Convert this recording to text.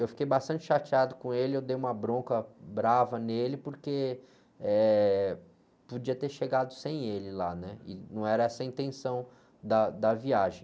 Eu fiquei bastante chateado com ele, eu dei uma bronca brava nele, porque, eh, podia ter chegado sem ele lá, e não era essa a intenção da, da viagem.